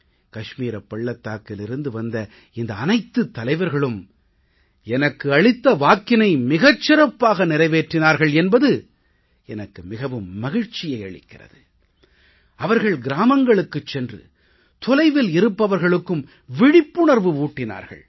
கஷ்மீர் பள்ளத்தாக்கிலிருந்து வந்த இந்த அனைத்துத் தலைவர்களும் எனக்கு அளித்த வாக்கினை மிகச் சிறப்பாக நிறைவேற்றினார்கள் என்பது எனக்கு மிகவும் மகிழ்ச்சியை அளிக்கிறது அவர்கள் கிராமங்களுக்குச் சென்று தொலைவில் இருப்பவர்களுக்கும் விழிப்புணர்வு ஊட்டினார்கள்